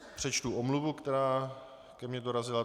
Přečtu omluvu, která ke mně dorazila.